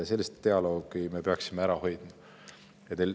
Sellise dialoogi me peaksime suutma ära hoida.